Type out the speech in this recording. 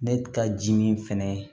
Ne ka ji min fɛnɛ